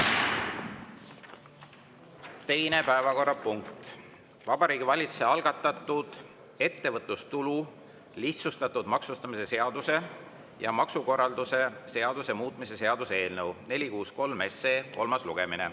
Teine päevakorrapunkt on Vabariigi Valitsuse algatatud ettevõtlustulu lihtsustatud maksustamise seaduse ja maksukorralduse seaduse muutmise seaduse eelnõu 463 kolmas lugemine.